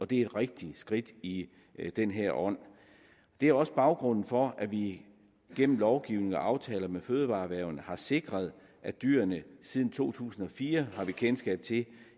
det rigtige skridt i den her ånd det er også baggrunden for at vi gennem lovgivning og aftaler med fødevareerhvervene har sikret at dyrene siden to tusind og fire har vi kendskab til